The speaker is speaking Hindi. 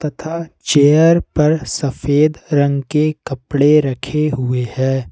तथा चेयर पर सफेद रंग के कपड़े रखे हुए हैं।